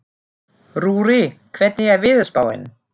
Rúrí, hvernig er veðurspáin?